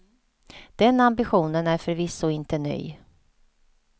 Den ambitionen är förvisso inte ny.